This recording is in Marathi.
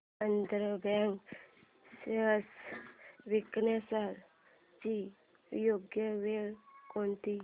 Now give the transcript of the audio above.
आंध्रा बँक शेअर्स विकण्याची योग्य वेळ कोणती